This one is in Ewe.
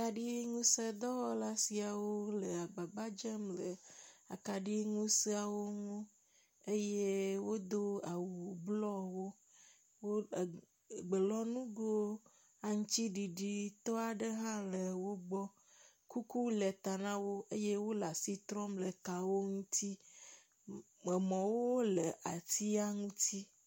Akaɖiŋusẽ dɔwɔla siawo le agbagba dzem le akaɖiŋusẽa ŋu eye wodo awu blɔwo, wo er gbelɔŋugo aŋutiɖiɖitɔ aɖewo hã le wo gbɔ. Kuku le ta na wo eye wole asi trɔm le wo la ŋuti. Mɔwo le atia ŋuti.